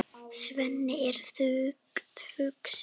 Svenni er þungt hugsi.